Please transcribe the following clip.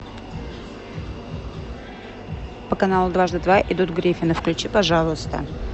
по каналу дважды два идут гриффины включи пожалуйста